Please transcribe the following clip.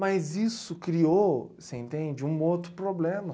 Mas isso criou, você entende, um outro problema.